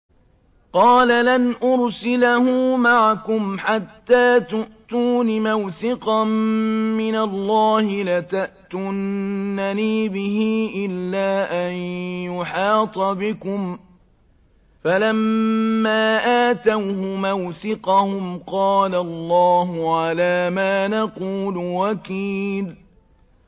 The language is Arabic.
قَالَ لَنْ أُرْسِلَهُ مَعَكُمْ حَتَّىٰ تُؤْتُونِ مَوْثِقًا مِّنَ اللَّهِ لَتَأْتُنَّنِي بِهِ إِلَّا أَن يُحَاطَ بِكُمْ ۖ فَلَمَّا آتَوْهُ مَوْثِقَهُمْ قَالَ اللَّهُ عَلَىٰ مَا نَقُولُ وَكِيلٌ